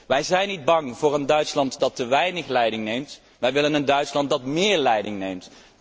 Wij zijn niet bang voor een Duitsland dat te weinig leiding neemt, wij willen een Duitsland dat méér leiding neemt.